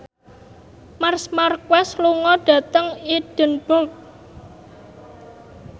Marc Marquez lunga dhateng Edinburgh